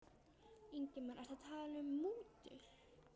Ingimar: Ertu að tala um mútur?